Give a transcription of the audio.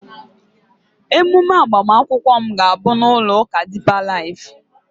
ememe agbamakwụkwọ m ga-abụ na ụlọ ụka deeper life